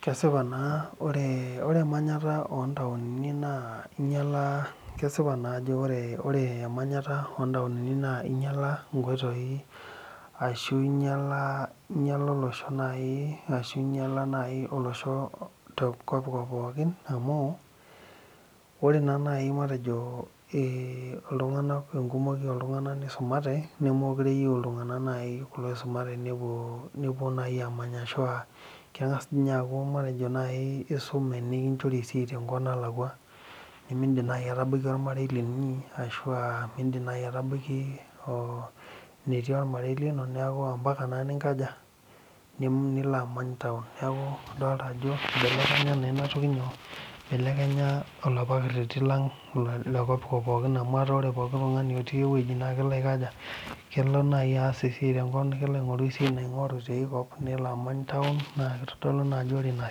Kesipaa naa ajo ore emanyata ootaonini naa kesipa inyiala ore emenyata ootaonini naa inyialaa inkoitoi ashuu inyialaa olosho naaji ashu inyialaa olosho te kopkop pookin amu ore naa naaji matejo ore enkumoi ooltung'anak neisumate nemekure eyieu iltung'anak naaji kulo oisumate nepuo naaji aamany ashua keng'as ninye aaku isume nikinchori esiai tenkop nalakwa nimindim naaji atabaiki ormarei linyi ashua miindim naaji atabaiki enii ormarei lino neeku ompaka naa ninkaja nilo amany taon neeku idolita ajo eibelekenye naa ina toki nyoo eibelekenye olapa kereti lang lekopkop pookin amu etaa ore pookin tung'ani otii ewueji naa kelo aas ewueji tenkop kelo aing'oru esiai nalo aing'oru tiakop nelo amany taon na keitodolu naa ajo ore ina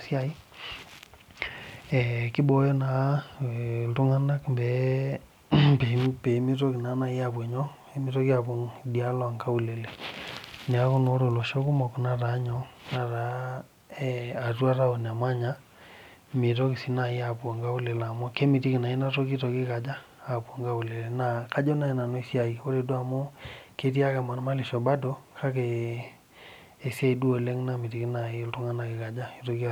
siai ee keibooyo naa iltung'anak pee meitoki naa naaji apuo idialo oonkaulele neeku naa ore olosho kumok netaaa atua taon emanya meitoki sii naaji aapuo inkaulele qmu kemitiki naa ina toki eitoki aikaja aapuo inkaulele naa kajo naaji nanu esiai ore duo amu ketii ake emarmarlisho bado kake esiai duo oleng namitiki naaji eitoki aarinyio